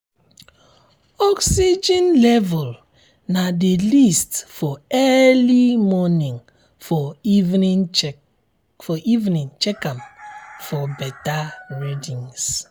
oxygen level na the least for early morning for evening check am um for better um readings